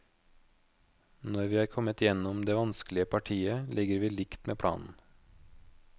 Når vi er kommet gjennom det vanskelige partiet, ligger vi likt med planen.